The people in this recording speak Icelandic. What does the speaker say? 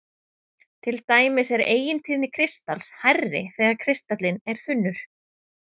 Til dæmis er eigintíðni kristals hærri þegar kristallinn er þunnur.